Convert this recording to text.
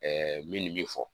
min bi fɔ